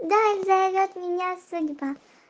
вдаль зовёт меня судьба